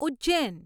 Ujjain